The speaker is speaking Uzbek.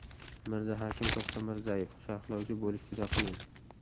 Mirzahakim To‘xtamirzayev: Sharhlovchi bo‘lish juda qiyin.